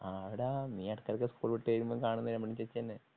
ആടാ നീ എടയ്ക്ക് എടയ്ക്ക് സ്കൂൾ വിട്ടുവരുമ്പോ കാണുന്ന രമണി ചേച്ചി തന്നെ.